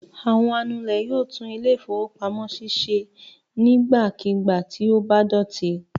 Àwọn anulẹ̀ yóò tún ilé-ìfowópamọ́sí ṣe nígbàkigbà tí ó bá dọ̀tí.